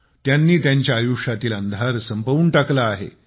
त्यांनी त्यांच्या आयुष्यातील अंधार संपवून टाकला आहे